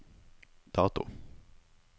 dato